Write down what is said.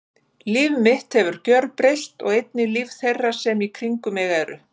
Líf mitt hefur gjörbreyst og einnig líf þeirra sem í kringum mig eru.